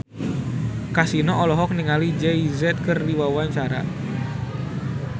Kasino olohok ningali Jay Z keur diwawancara